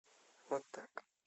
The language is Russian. вот так